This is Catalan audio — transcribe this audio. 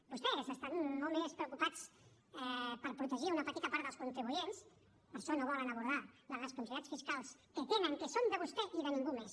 vostès estan molt més preocupats per protegir una petita part dels contribuents per això no volen abordar les responsabilitats fiscals que tenen que són de vostè i de ningú més